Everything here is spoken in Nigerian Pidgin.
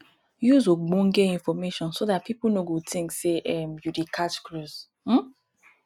use ogbonge information so dat pipo no go think sey um you dey catch cruise um